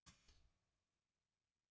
kaupið- keyptuð